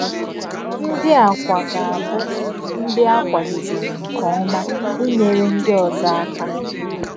Ńdí à kwà gà-àbụ̀ ńdí à kwàdèbèrè nke ọ̀má ínyèrè ńdí òzọ̀ àkà.